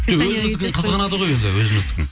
жоқ өзіміздікін қызғанады ғой өзіміздікін